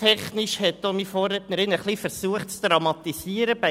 Meine Vorrednerin hat proporztechnisch etwas zu dramatisieren versucht.